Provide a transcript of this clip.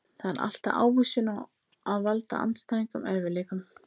Það er alltaf ávísun á að valda andstæðingunum erfiðleikum.